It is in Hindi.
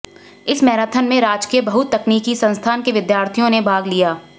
इस मैराथन में राजकीय बहुतकनीकी संस्थान के विद्यार्थियों ने भाग लिया